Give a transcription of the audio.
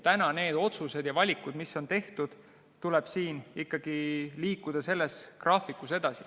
Täna tuleb nende otsuste ja valikutega, mis on tehtud, graafikus edasi liikuda.